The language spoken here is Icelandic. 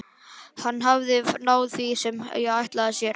Hann hafði náð því sem hann ætlaði sér.